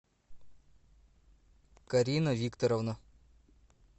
карина викторовна